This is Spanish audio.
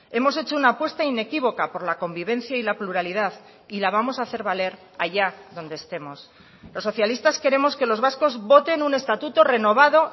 hemos hecho una apuesta inequívoca por la convivencia y la pluralidad y la vamos a hacer valer allá donde estemos los socialistas queremos que los vascos voten un estatuto renovado